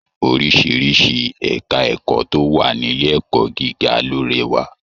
Oríṣiríṣi ẹka ẹ̀kọ́ tó wà nílé ẹ̀kọ́ gíga ló rẹwà.